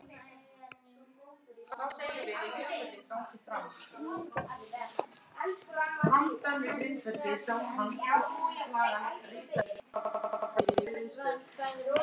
Eiga þau þrjú börn.